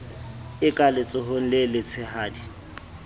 e ka letsohong le letshehadi